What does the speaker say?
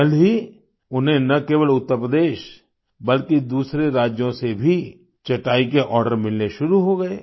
जल्द ही उन्हें न केवल उत्तर प्रदेश बल्कि दूसरे राज्यों से भी चटाई के आर्डर मिलने शुरू हो गए